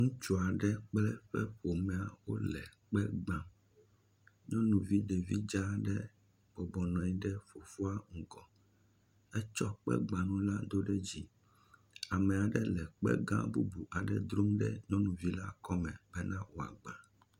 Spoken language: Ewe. Ŋutsu aɖe kple eƒe ƒome wole kpe gbam, nyɔnuvi dza aɖe nɔ anyi ɖe fofoa ŋgɔ, etsɔ kpe gbanu la do ɖe dzi ame aɖe le kpe gã bubu aɖe drom ɖe nyɔnuvi la kɔme bena wòagba.